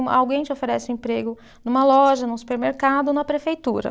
Alguém te oferece emprego numa loja, num supermercado ou na prefeitura.